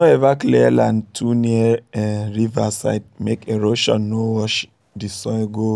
no ever clear land too near um river side make erosion um no wash um the soil go the soil go